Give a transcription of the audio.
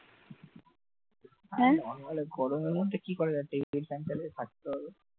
আর গরমে কি করা যাবে? টেবিল fan চালিয়ে থাকতে হবে